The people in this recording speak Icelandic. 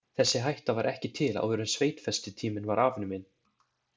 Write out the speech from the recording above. Þessi hætta var ekki til áður en sveitfestitíminn var afnuminn.